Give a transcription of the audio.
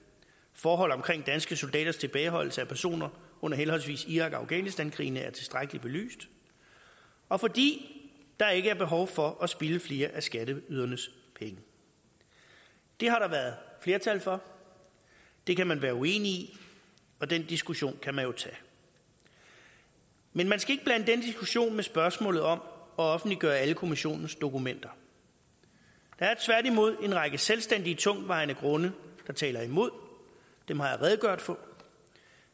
forhold omkring danske soldaters tilbageholdelse af personer under henholdsvis irak og afghanistankrigene er tilstrækkelig belyst og fordi der ikke er behov for at spilde flere af skatteydernes penge det har der været flertal for det kan man være uenig i og den diskussion kan man jo tage men man skal ikke blande den diskussion med spørgsmålet om at offentliggøre alle kommissionens dokumenter der er tværtimod en række selvstændige tungtvejende grunde der taler imod og dem har jeg redegjort for